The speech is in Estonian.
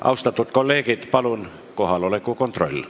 Austatud kolleegid, kohaloleku kontroll.